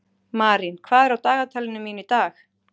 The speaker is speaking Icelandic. Marín, hvað er á dagatalinu mínu í dag?